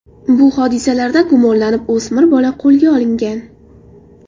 Bu hodisalarda gumonlanib, o‘smir bola qo‘lga olingan.